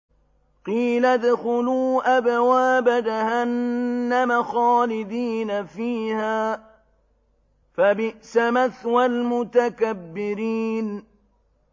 قِيلَ ادْخُلُوا أَبْوَابَ جَهَنَّمَ خَالِدِينَ فِيهَا ۖ فَبِئْسَ مَثْوَى الْمُتَكَبِّرِينَ